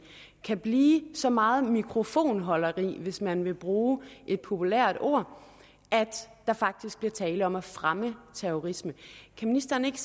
kan blive så meget mikrofonholderi hvis man vil bruge et populært ord at der faktisk bliver tale om at fremme terrorisme kan ministeren ikke